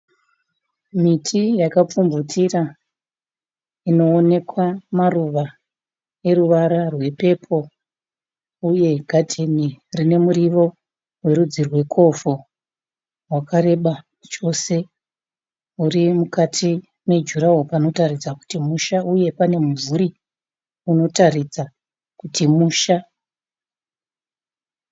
Miti yakapfupfumvutira inoonekwa maruva eruvara epepuru uye gadheni ine muriwo werudzi rwecovo uri mukati mejuraworo wakareba chose panotaridza kuti musha, uye pane mumvuri unotaridza kuti musha.